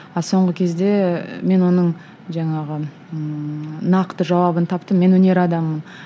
а соңғы кезде мен оның жаңағы ыыы нақты жауабын таптым мен өнер адамымын